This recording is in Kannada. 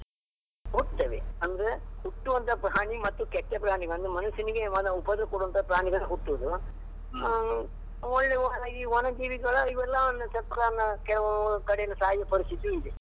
ಹುಟ್ಟುತ್ತವೆ, ಅಂದ್ರೆ ಹುಟ್ಟುವಂತಹ ಪ್ರಾಣಿ ಮತ್ತು ಕೆಟ್ಟ ಪ್ರಾಣಿ ಒಂದು ಮನುಷ್ಯನಿಗೆ ಕೇವಲ ಉಪದ್ರ ಕೊಡುವಂತಹ ಪ್ರಾಣಿಗಳು ಹುಟ್ಟುವುದು, ಒಳ್ಳೆ ಈ ವನ ಜೀವಿಗಳು ಇವೆಲ್ಲ ಕೆಲವು ಕಡೆ ಸಾಯುವ ಪರಿಸ್ಥಿತಿಯು ಇದೆ.